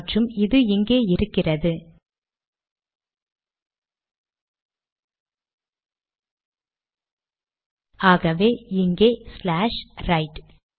மற்றும் இது இங்கே இருக்கிறது ஆகவே இங்கே ஸ்லாஷ் ரைட்